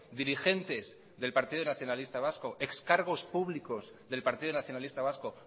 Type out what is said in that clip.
dirigentes del partido nacionalista vasco ex cargos públicos del partido nacionalista vasco